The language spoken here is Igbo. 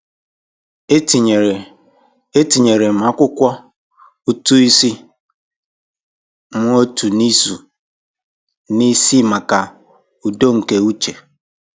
Etinyere Etinyere m akwụkwọ ụtụ isi m otu izu n'isi maka udo nke uche.